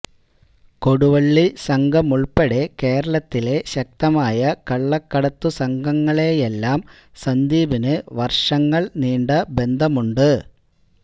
കൊടുവള്ളി സംഘമുൾപ്പെടെ കേരളത്തിലെ ശക്തമായ കള്ളക്കടത്തു സംഘങ്ങളുമായെല്ലാം സന്ദീപിനു വർഷങ്ങൾ നീണ്ട ബന്ധമുണ്ട്